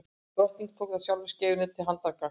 drottinn tók þá sjálfur skeifuna til handargagns